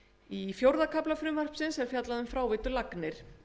í fjórða kafla frumvarpsins er fjallað um fráveitulagnir